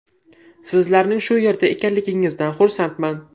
Sizlarning shu yerda ekanligingizdan xursandman.